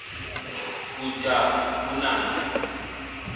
kunanta